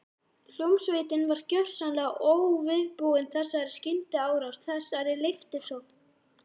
Hljómsveitin var gjörsamlega óviðbúin þessari skyndiárás, þessari leiftursókn.